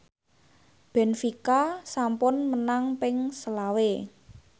benfica sampun menang ping selawe